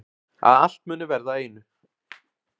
Að allt muni verða að einu.